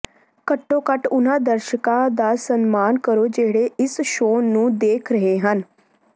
ਘੱਟੋ ਘੱਟ ਉਨ੍ਹਾਂ ਦਰਸ਼ਕਾਂ ਦਾ ਸਨਮਾਨ ਕਰੋ ਜਿਹੜੇ ਇਸ ਸ਼ੋਅ ਨੂੰ ਦੇਖ ਰਹੇ ਹਨ